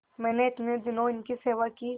मैंने इतने दिनों इनकी सेवा की